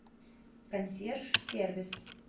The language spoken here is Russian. консьерж сервис